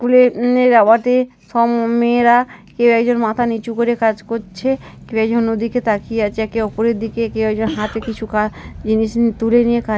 স্কুলের সব মেয়েরা কেউ একজন মাথা নিচু করে কাজ করছে কেউ একজন ওদিকে তাকিয়ে আছে একে অপরের দিকে কেউ একজন হাতে কিছু কাজ জিনিস নিয়ে কাজ--